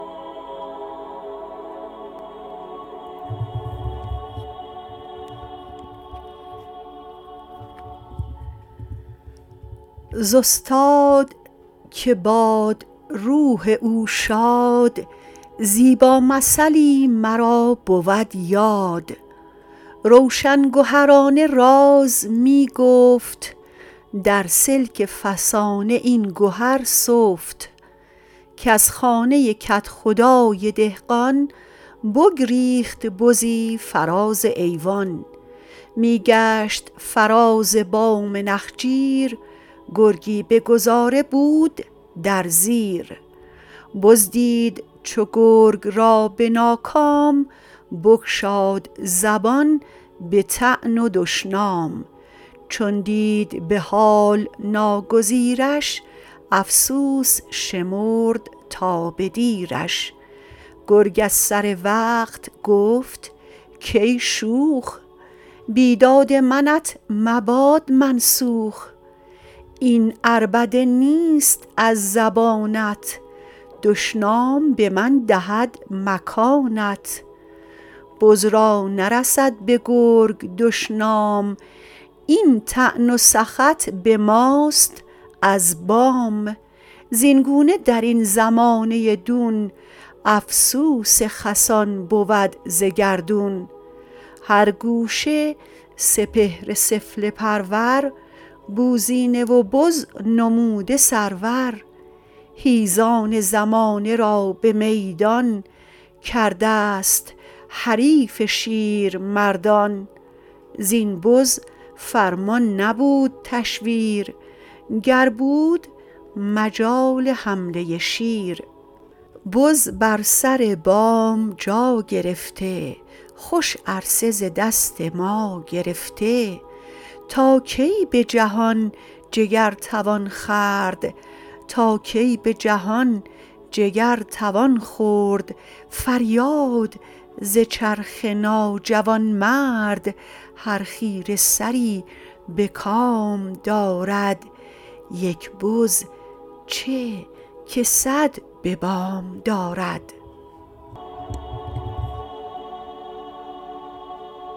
ز استاد که باد روح او شاد زیبا مثلی مرا بود یاد روشن گهرانه راز می گفت در سلک فسانه این گهر سفت کز خانه کدخدای دهقان بگریخت بزی فراز ایوان می گشت فراز بام نخجیر گرگی به گذاره بود در زیر بز دید چو گرگ را به ناکام بگشاد زبان به طعن و دشنام چون دید به حال ناگزیرش افسوس شمرد تا به دیرش گرگ از سر وقت گفت کای شوخ بیداد منت مباد منسوخ این عربده نیست از زبانت دشنام به من دهد مکانت بز را نرسد به گرگ دشنام این طعن و سخط به ماست از بام زین گونه درین زمانه دون افسوس خسان بود ز گردون هر گوشه سپهر سفله پرور بوزینه و بز نموده سرور حیزان زمانه را به میدان کرده ست حریف شیرمردان زین بز فرمان نبود تشویر گر بود مجال حمله شیر بز بر سر بام جا گرفته خوش عرصه ز دست ما گرفته تا کی به جهان جگر توان خورد فریاد ز چرخ ناجوانمرد هر خیره سری به کام دارد یک بزچه که صد به بام دارد